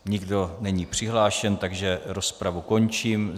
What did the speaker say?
Nikdo není přihlášen, takže rozpravu končím.